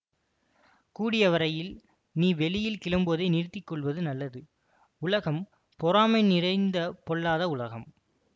கூடியவரையில் நீ வெளியில் கிளம்புவதை நிறுத்தி கொள்வது நலது உலகம் பொறாமை நிறைந்த பொல்லாத உலகம்